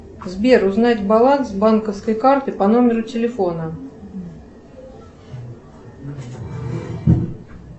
сбер узнать баланс банковской карты по номеру телефона